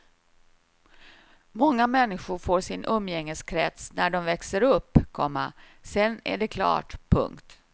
Många människor får sin umgängeskrets när de växer upp, komma sedan är det klart. punkt